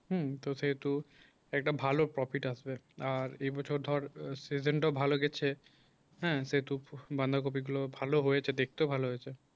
হুম তো যেহেতু একটা ভালো prefect আসবে আর এ বছর ধর session টাও ভালো গেছে হ্যাঁ সেটুকু বাঁধাকপি গুলো ভালো হয়েছে দেখতে ভালো হয়েছে